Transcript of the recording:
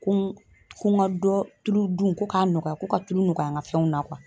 Kun ko ŋa dɔ tulu dun ko k'a nɔgɔya ko ka tulu nɔgɔya ŋa fɛnw na .